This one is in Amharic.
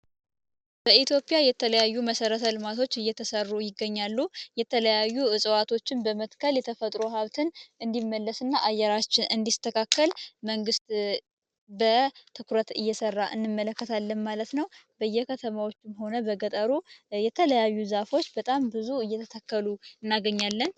በኢትዮጵያ የተለያዩ መሠረተ ልማቶች እየተሠሩ ይገኛሉ የተለያዩ እጽዋቶችን በመትከል የተፈጥሮ ሀብትን እንዲመለስ እና አየራችን እንዲስተካከል መንግስት በትኩረት እየሰራ እንመለከታለን ማለት ነው በየከተማዎቹ ሆነ በገጠሩ የተለያዩ ዛፎች በጣም ብዙ እየተተከሉ እናገኛለን።